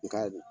I ka